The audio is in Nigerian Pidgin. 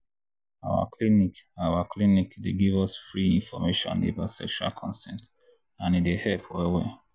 our clinic our clinic dey give us free information about sexual consent and e dey help well well.